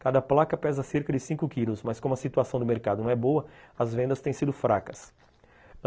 Cada placa pesa cerca de cinco quilos mas como a situação do mercado não é boa, as vendas têm sido fracas.